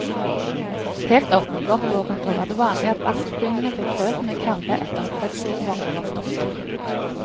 Helt opp mot vårt århundre var det vanlig at barselkvinnene fikk grøt med karve etter at fødselen var overstått.